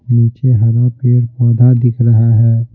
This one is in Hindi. नीचे हरा पेड़ पौधा दिख रहा है।